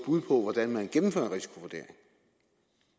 bud på hvordan man gennemfører